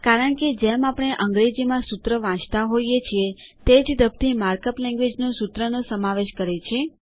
કારણકે જેમ આપણે અંગ્રેજીમાં સૂત્ર વાચતા હોઈએ છીએ તે જ ધબથી માર્ક અપ લેન્ગવેજ સૂત્રનો સમાવેશ કરે છે